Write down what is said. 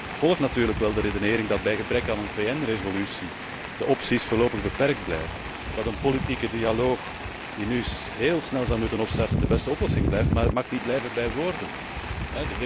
Ik volg natuurlijk wel de redenering dat bij gebrek aan een VN resolutie de opties voorlopig beperkt blijven, dat een politieke dialoog, die nu heel snel zal moeten opstarten, de beste oplossing blijft, maar het mag niet bij woorden blijven.